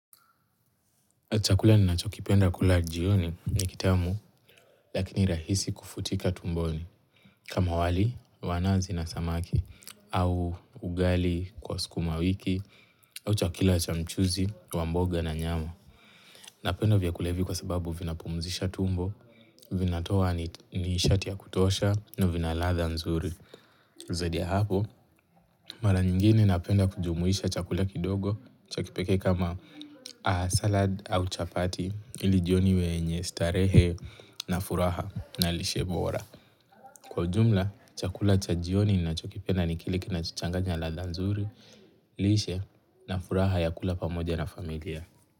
Chakula ninachokipenda kula jioni ni kitamu, lakini rahisi kufutika tumboni. Kama wali, wa nazi na samaki, au ugali kwa sukuma wiki, au chakila cha mchuzi, wa mboga na nyama. Napenda vyakula hivi kwa sababu vinapumzisha tumbo, vinatoa nishati ya kutosha, na vina ladha nzuri. Zaidi ya hapo, mara nyingine napenda kujumuisha chakula kidogo cha kipekee kama salad au chapati ili jioni wenye starehe na furaha na lishe bora. Kwa ujumla, chakula cha jioni nachokipenda ni kile kinachochanganya ladha nzuri, lishe na furaha ya kula pamoja na familia.